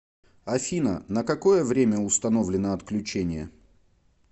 афина на какое время установлено отключение